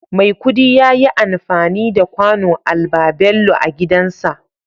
Maikudi yayi anfani da kwano albabello agidanshi